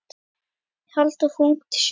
Halldór fór ungur til sjós.